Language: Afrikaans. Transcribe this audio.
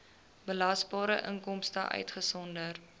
belasbare inkomste uitgesonderd